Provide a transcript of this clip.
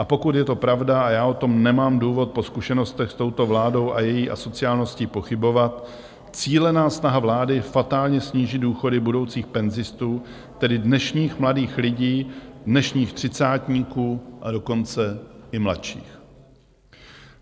A pokud je to pravda a já o tom nemám důvod po zkušenostech s touto vládou a její asociálností pochybovat, cílená snaha vlády fatálně snížit důchody budoucích penzistů, tedy dnešních mladých lidí, dnešních třicátníků, a dokonce i mladších.